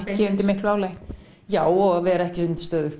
ekki undir miklu álagi já og vera ekki undir